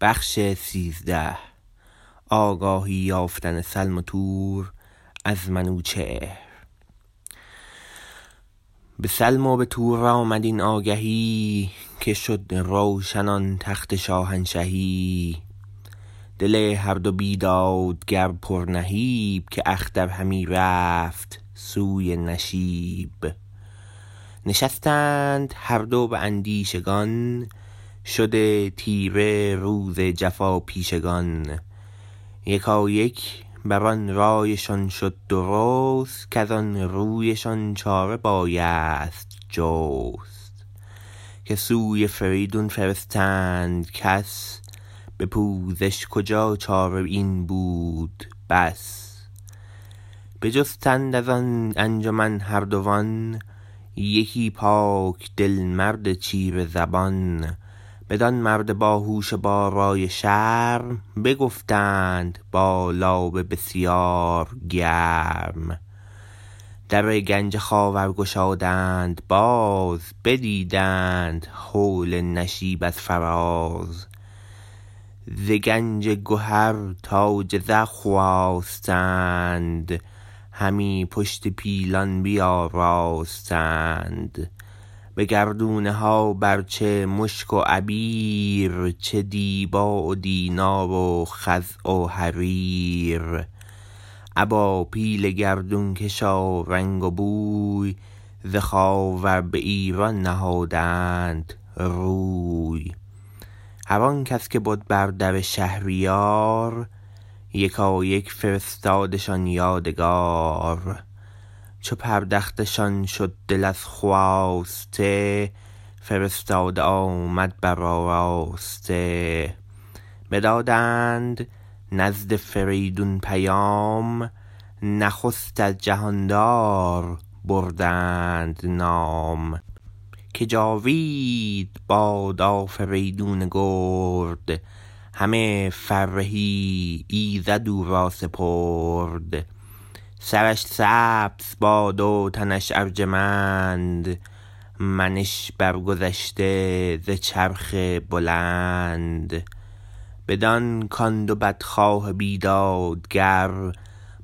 به سلم و به تور آمد این آگهی که شد روشن آن تخت شاهنشهی دل هر دو بیدادگر پر نهیب که اختر همی رفت سوی نشیب نشستند هر دو به اندیشگان شده تیره روز جفاپیشگان یکایک بران رایشان شد درست کزان روی شان چاره بایست جست که سوی فریدون فرستند کس به پوزش کجا چاره این بود بس بجستند از آن انجمن هردوان یکی پاک دل مرد چیره زبان بدان مرد باهوش و با رای و شرم بگفتند با لابه بسیار گرم در گنج خاور گشادند باز بدیدند هول نشیب از فراز ز گنج گهر تاج زر خواستند همی پشت پیلان بیاراستند به گردونه ها بر چه مشک و عبیر چه دیبا و دینار و خز و حریر ابا پیل گردونکش و رنگ و بوی ز خاور به ایران نهادند روی هر آنکس که بد بر در شهریار یکایک فرستادشان یادگار چو پردخته شان شد دل از خواسته فرستاده آمد برآراسته بدادند نزد فریدون پیام نخست از جهاندار بردند نام که جاوید باد آفریدون گرد همه فرهی ایزد او را سپرد سرش سبز باد و تنش ارجمند منش برگذشته ز چرخ بلند بدان کان دو بدخواه بیدادگر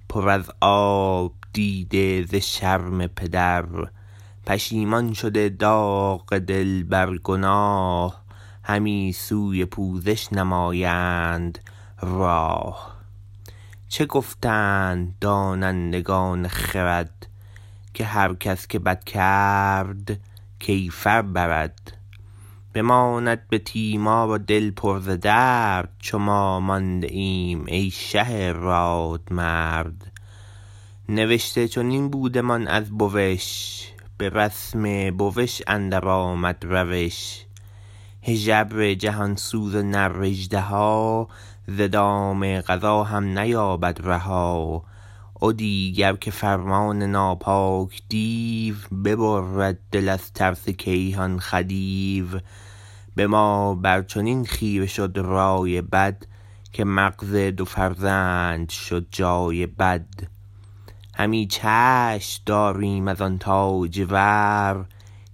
پر از آب دیده ز شرم پدر پشیمان شده داغ دل بر گناه همی سوی پوزش نمایند راه چه گفتند دانندگان خرد که هر کس که بد کرد کیفر برد بماند به تیمار و دل پر ز درد چو ما مانده ایم ای شه رادمرد نوشته چنین بودمان از بوش به رسم بوش اندر آمد روش هژبر جهانسوز و نر اژدها ز دام قضا هم نیابد رها و دیگر که فرمان ناپاک دیو ببرد دل از ترس گیهان خدیو به ما بر چنین خیره شد رای بد که مغز دو فرزند شد جای بد همی چشم داریم از آن تاجور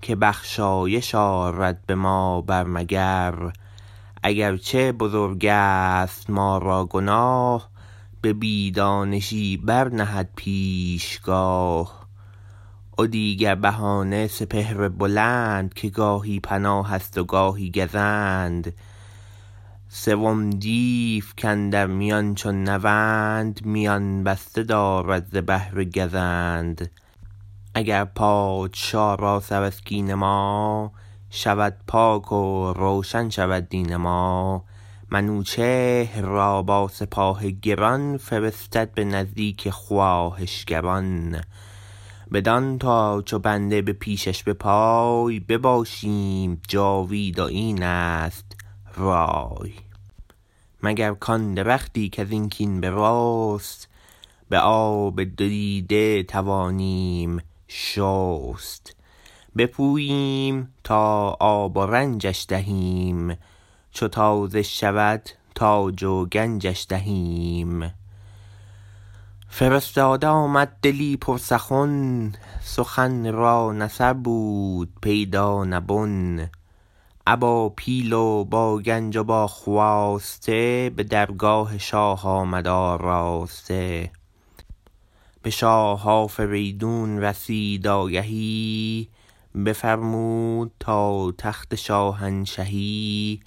که بخشایش آرد به ما بر مگر اگر چه بزرگست ما را گناه به بی دانشی برنهد پیشگاه و دیگر بهانه سپهر بلند که گاهی پناهست و گاهی گزند سوم دیو کاندر میان چون نوند میان بسته دارد ز بهر گزند اگر پادشا را سر از کین ما شود پاک و روشن شود دین ما منوچهر را با سپاه گران فرستد به نزدیک خواهشگران بدان تا چو بنده به پیشش به پای بباشیم جاوید و اینست رای مگر کان درختی کزین کین برست به آب دو دیده توانیم شست بپوییم تا آب و رنجش دهیم چو تازه شود تاج و گنجش دهیم فرستاده آمد دلی پر سخن سخن را نه سر بود پیدا نه بن ابا پیل و با گنج و با خواسته به درگاه شاه آمد آراسته به شاه آفریدون رسید آگهی بفرمود تا تخت شاهنشهی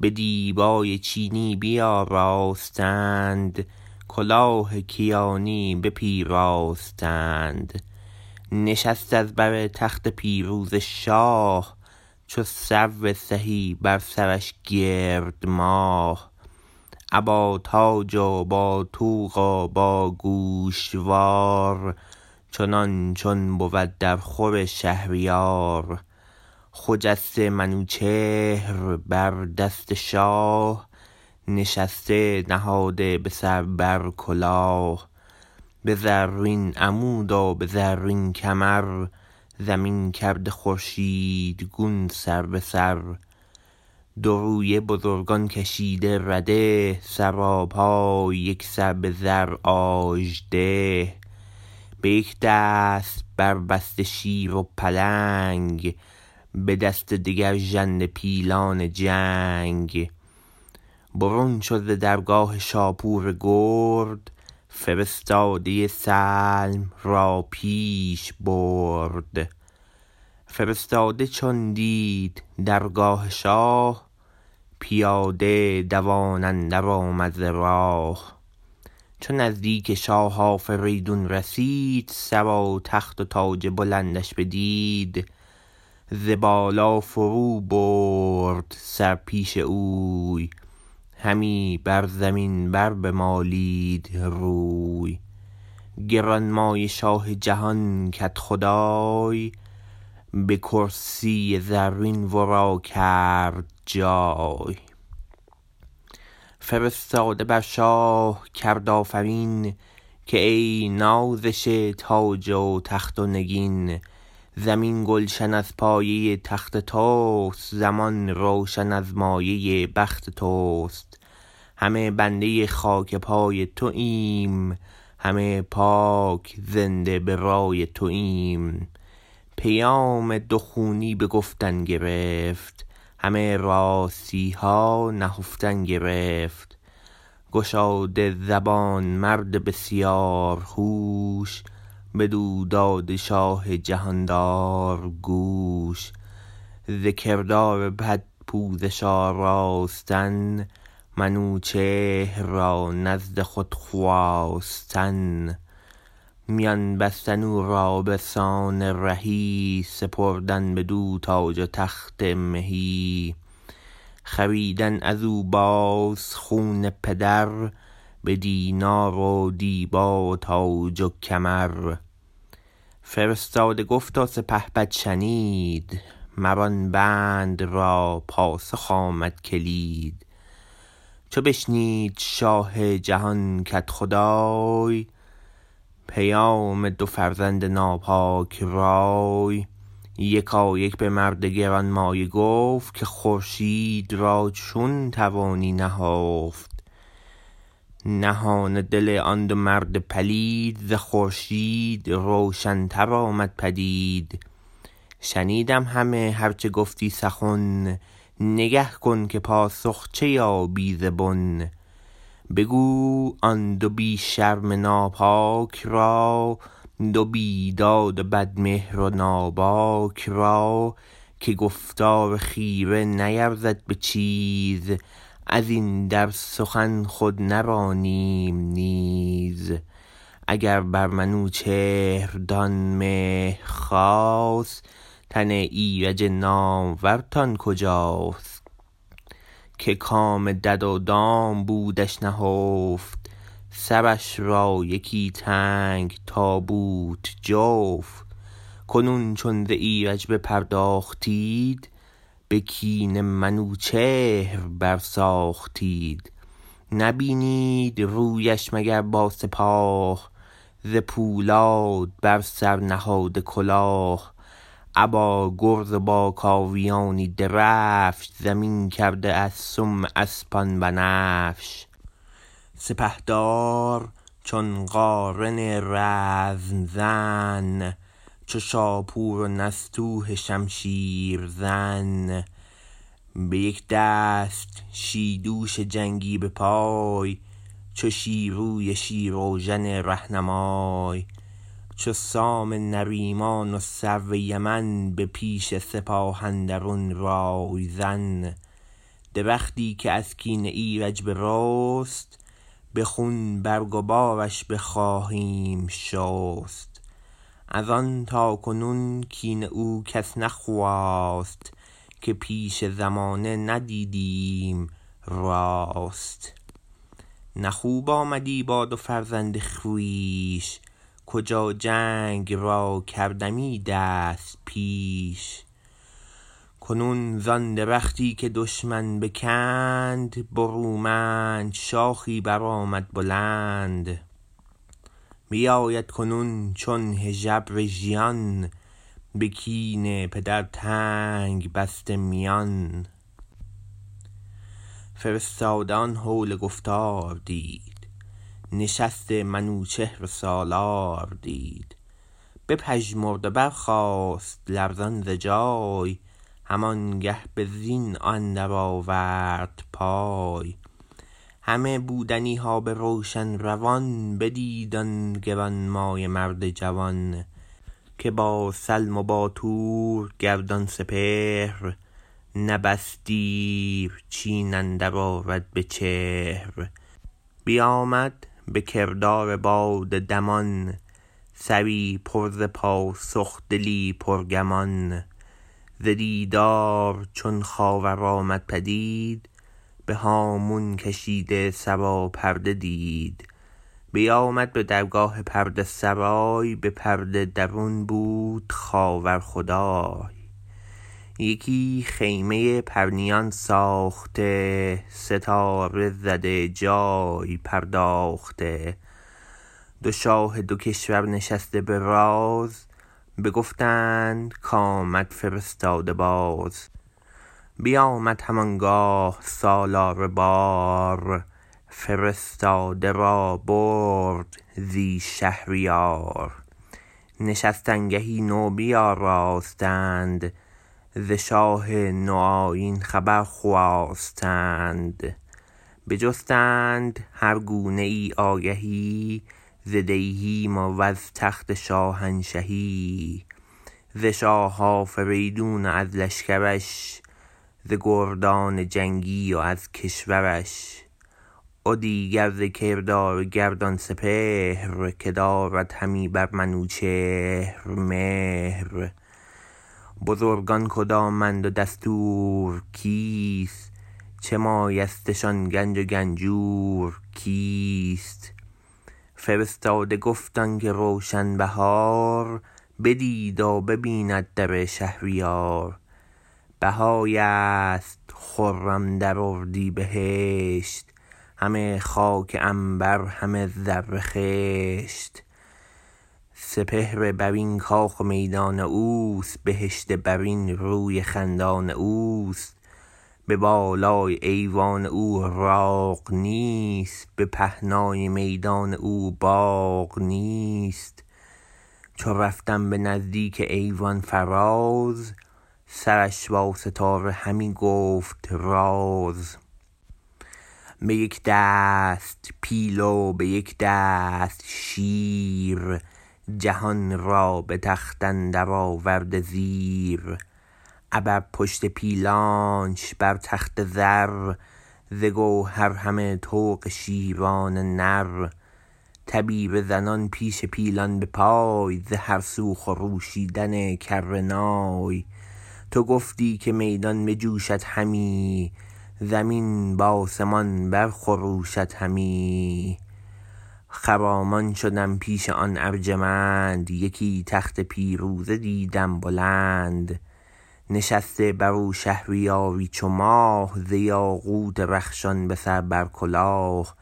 به دیبای چینی بیاراستند کلاه کیانی بپیراستند نشست از بر تخت پیروزه شاه چو سرو سهی بر سرش گرد ماه ابا تاج و با طوق و باگوشوار چنان چون بود در خور شهریار خجسته منوچهر بر دست شاه نشسته نهاده به سر بر کلاه به زرین عمود و به زرین کمر زمین کرده خورشیدگون سر به سر دو رویه بزرگان کشیده رده سراپای یکسر به زر آژده به یک دست بربسته شیر و پلنگ به دست دگر ژنده پیلان جنگ برون شد ز درگاه شاپور گرد فرستاده سلم را پیش برد فرستاده چون دید درگاه شاه پیاده دوان اندر آمد ز راه چو نزدیک شاه آفریدون رسید سر و تخت و تاج بلندش بدید ز بالا فرو برد سر پیش اوی همی بر زمین بر بمالید روی گرانمایه شاه جهان کدخدای به کرسی زرین ورا کرد جای فرستاده بر شاه کرد آفرین که ای نازش تاج و تخت و نگین زمین گلشن از پایه تخت تست زمان روشن از مایه بخت تست همه بنده خاک پای توایم همه پاک زنده به رای توایم پیام دو خونی به گفتن گرفت همه راستیها نهفتن گرفت گشاده زبان مرد بسیار هوش بدو داده شاه جهاندار گوش ز کردار بد پوزش آراستن منوچهر را نزد خود خواستن میان بستن او را بسان رهی سپردن بدو تاج و تخت مهی خریدن ازو باز خون پدر بدینار و دیبا و تاج و کمر فرستاده گفت و سپهبد شنید مر آن بند را پاسخ آمد کلید چو بشنید شاه جهان کدخدای پیام دو فرزند ناپاک رای یکایک بمرد گرانمایه گفت که خورشید را چون توانی نهفت نهان دل آن دو مرد پلید ز خورشید روشن تر آمد پدید شنیدم همه هر چه گفتی سخن نگه کن که پاسخ چه یابی ز بن بگو آن دو بی شرم ناپاک را دو بیداد و بد مهر و ناباک را که گفتار خیره نیرزد به چیز ازین در سخن خود نرانیم نیز اگر بر منوچهرتان مهر خاست تن ایرج نامورتان کجاست که کام دد و دام بودش نهفت سرش را یکی تنگ تابوت جفت کنون چون ز ایرج بپرداختید به کین منوچهر بر ساختید نبینید رویش مگر با سپاه ز پولاد بر سر نهاده کلاه ابا گرز و با کاویانی درفش زمین کرده از سم اسپان بنفش سپهدار چون قارن رزم زن چو شاپور و نستوه شمشیر زن به یک دست شیدوش جنگی به پای چو شیروی شیراوژن رهنمای چو سام نریمان و سرو یمن به پیش سپاه اندرون رای زن درختی که از کین ایرج برست به خون برگ و بارش بخواهیم شست از آن تاکنون کین او کس نخواست که پشت زمانه ندیدیم راست نه خوب آمدی با دو فرزند خویش کجا جنگ را کردمی دست پیش کنون زان درختی که دشمن بکند برومند شاخی برآمد بلند بیاید کنون چون هژبر ژیان به کین پدر تنگ بسته میان فرستاده آن هول گفتار دید نشست منوچهر سالار دید بپژمرد و برخاست لرزان ز جای هم آنگه به زین اندر آورد پای همه بودنیها به روشن روان بدید آن گرانمایه مرد جوان که با سلم و با تور گردان سپهر نه بس دیر چین اندر آرد بچهر بیامد به کردار باد دمان سری پر ز پاسخ دلی پرگمان ز دیدار چون خاور آمد پدید به هامون کشیده سراپرده دید بیامد به درگاه پرده سرای به پرده درون بود خاور خدای یکی خیمه پرنیان ساخته ستاره زده جای پرداخته دو شاه دو کشور نشسته به راز بگفتند کامد فرستاده باز بیامد هم آنگاه سالار بار فرستاده را برد زی شهریار نشستنگهی نو بیاراستند ز شاه نو آیین خبر خواستند بجستند هر گونه ای آگهی ز دیهیم و از تخت شاهنشهی ز شاه آفریدون و از لشکرش ز گردان جنگی و از کشورش و دیگر ز کردار گردان سپهر که دارد همی بر منوچهر مهر بزرگان کدامند و دستور کیست چه مایستشان گنج و گنجور کیست فرستاده گفت آنکه روشن بهار بدید و ببیند در شهریار بهاری ست خرم در اردیبهشت همه خاک عنبر همه زر خشت سپهر برین کاخ و میدان اوست بهشت برین روی خندان اوست به بالای ایوان او راغ نیست به پهنای میدان او باغ نیست چو رفتم به نزدیک ایوان فراز سرش با ستاره همی گفت راز به یک دست پیل و به یک دست شیر جهان را به تخت اندر آورده زیر ابر پشت پیلانش بر تخت زر ز گوهر همه طوق شیران نر تبیره زنان پیش پیلان به پای ز هر سو خروشیدن کره نای تو گفتی که میدان بجوشد همی زمین به آسمان بر خروشد همی خرامان شدم پیش آن ارجمند یکی تخت پیروزه دیدم بلند نشسته برو شهریاری چو ماه ز یاقوت رخشان به سر بر کلاه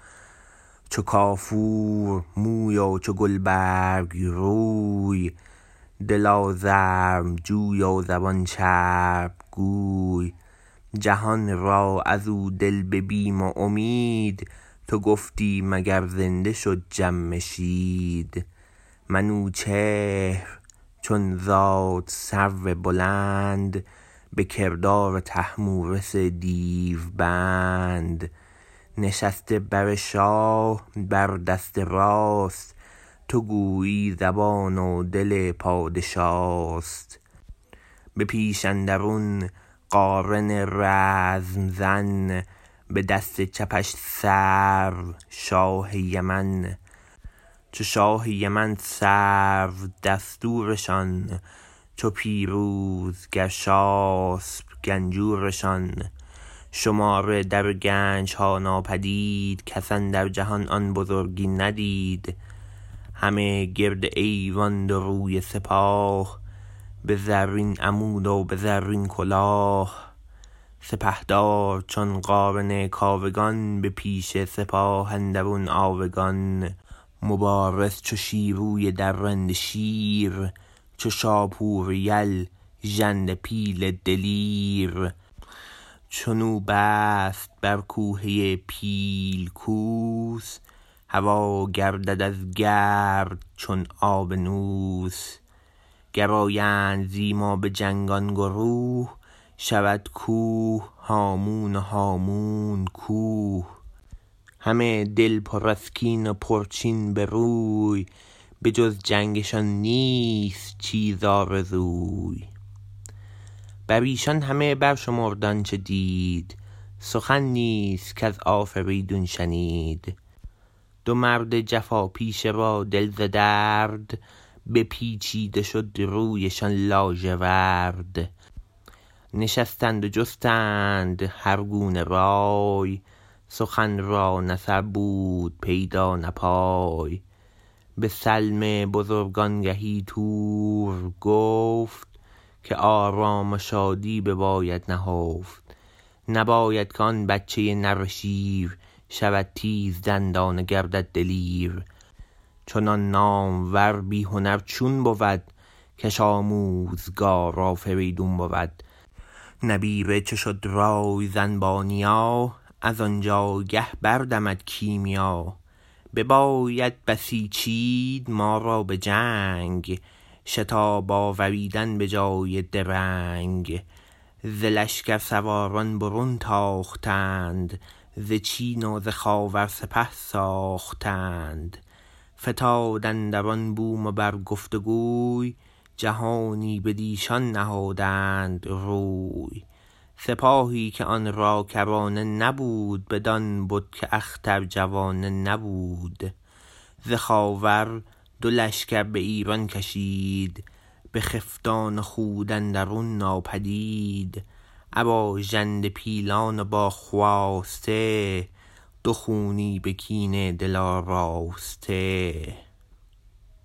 چو کافور موی و چو گلبرگ روی دل آزرم جوی و زبان چرب گوی جهان را ازو دل به بیم و امید تو گفتی مگر زنده شد جمشید منوچهر چون زاد سرو بلند به کردار طهمورث دیوبند نشسته بر شاه بر دست راست تو گویی زبان و دل پادشاست به پیش اندرون قارن رزم زن به دست چپش سرو شاه یمن چو شاه یمن سرو دستورشان چو پیروز گرشاسپ گنجورشان شمار در گنجها ناپدید کس اندر جهان آن بزرگی ندید همه گرد ایوان دو رویه سپاه به زرین عمود و به زرین کلاه سپهدار چون قارن کاوگان به پیش سپاه اندرون آوگان مبارز چو شیروی درنده شیر چو شاپور یل ژنده پیل دلیر چنو بست بر کوهه پیل کوس هوا گردد از گرد چون آبنوس گر آیند زی ما به جنگ آن گروه شود کوه هامون و هامون کوه همه دل پر از کین و پرچین بروی به جز جنگشان نیست چیز آرزوی بریشان همه برشمرد آنچه دید سخن نیز کز آفریدون شنید دو مرد جفا پیشه را دل ز درد بپیچید و شد رویشان لاژورد نشستند و جستند هرگونه رای سخن را نه سر بود پیدا نه پای به سلم بزرگ آنگهی تور گفت که آرام و شادی بباید نهفت نباید که آن بچه نره شیر شود تیزدندان و گردد دلیر چنان نامور بی هنر چون بود کش آموزگار آفریدون بود نبیره چو شد رای زن با نیا ازان جایگه بردمد کیمیا بباید بسیچید ما را بجنگ شتاب آوریدن به جای درنگ ز لشکر سواران برون تاختند ز چین و ز خاور سپه ساختند فتاد اندران بوم و بر گفت گوی جهانی بدیشان نهادند روی سپاهی که آن را کرانه نبود بدان بد که اختر جوانه نبود ز خاور دو لشکر به ایران کشید بخفتان و خود اندرون ناپدید ابا ژنده پیلان و با خواسته دو خونی به کینه دل آراسته